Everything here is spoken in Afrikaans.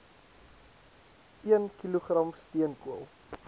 een kilogram steenkool